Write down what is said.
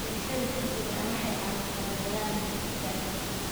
Beerashada degdega ah waxay caawisaa la dagaallanka gaajada.